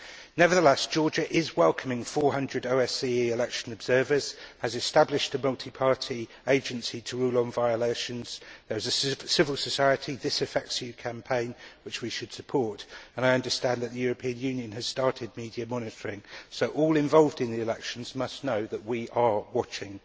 Nevertheless, Georgia is welcoming 400 OSCE election observers, has established a multi party agency to rule on violations, there is a civil society This Affects You' campaign which we should support, and I understand that the European Union has started media monitoring, so all involved in the elections must know that we are watching.